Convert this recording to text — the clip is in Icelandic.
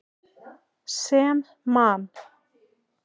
Sem Man.